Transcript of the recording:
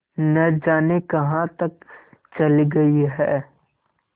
न जाने कहाँ तक चली गई हैं